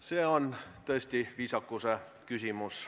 See on tõesti viisakuse küsimus.